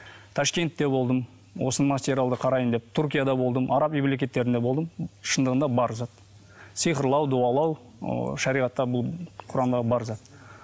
ташкентте болдым осы материалды қараймын деп түркияда болдым араб мемлекеттерінде болдым шындығында бар зат сиқырлау дуалау ыыы шариғатта бұл құранда бар зат